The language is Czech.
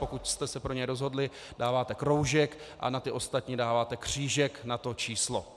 Pokud jste se pro něj rozhodli, dáváte kroužek a na ty ostatní dáváte křížek na to číslo.